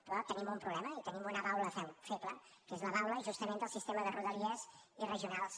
però tenim un problema i tenim una baula feble que és la baula justament del sistema de rodalia i regionals